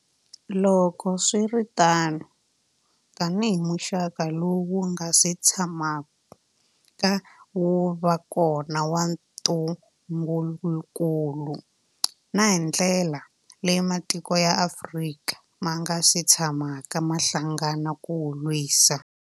Loko swi ri tano, tanihi muxaka lowu wu nga si tshamaka wu va kona wa ntungukulu, na hi ndlela leyi matiko ya Afrika ma nga si tshamaka ma hlangana ku wu lwisa.